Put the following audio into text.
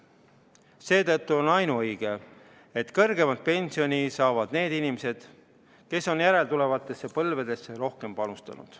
Seetõttu on ainuõige, et kõrgemat pensioni saavad need inimesed, kes on järeltulevatesse põlvedesse rohkem panustanud.